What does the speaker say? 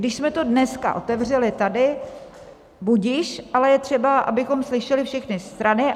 Když jsme to dneska otevřeli tady, budiž, ale je třeba, abychom slyšeli všechny strany.